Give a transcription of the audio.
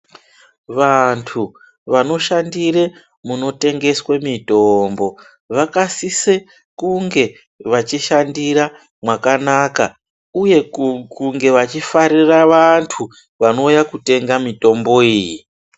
Vanthu vanoshandire munotengeswe mitombo vakasise kunge vachishandira mwakanaka uye kunge vachifarira vanthu vanouya kutenga mitombo iyi.